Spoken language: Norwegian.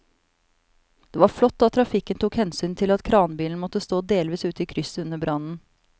Det var flott at trafikken tok hensyn til at kranbilen måtte stå delvis ute i krysset under brannen.